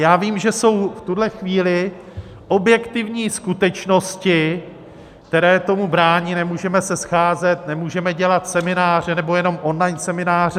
Já vím, že jsou v tuhle chvíli objektivní skutečnosti, které tomu brání, nemůžeme se scházet, nemůžeme dělat semináře, nebo jenom online semináře.